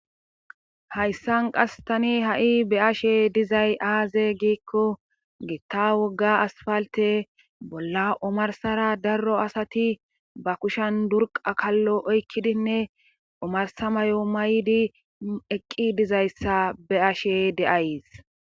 Hayssan qas tani ha7i be ashe dizay aaze giikko gitta wogga asfalte bolla omarsara darro asati ba kushan durqakallo oykkidinne omarsa mayo maydi eqqi dizayssa be ashe de7ays.